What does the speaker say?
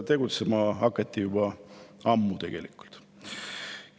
Tegutsema hakati juba ammu tegelikult.